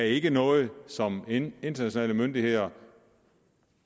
ikke noget som internationale myndigheder